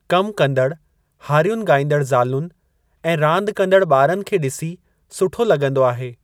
कमु कंदडु हारयुनि ॻाइंदड़ ज़ालुनि ऐं रांदि कंदड़ ॿारनि खे ॾिसी सुठे लगं॒दो आहे।